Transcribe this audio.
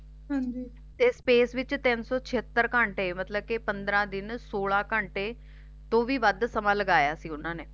ਹਾਂਜੀ ਤੇ Space ਵਿੱਚ ਤੀਨ ਸੋ ਚੀਅਤਰ ਘੰਟੇ ਮਤਲਬ ਕਿ ਪੰਦਰਾਂ ਦਿਨ ਸੋਲਹ ਘੰਟੇ ਤੋਂ ਵੀ ਵੱਧ ਸਮਾਂ ਲਗਾਇਆ ਸੀ ਓਹਨਾ ਨੇ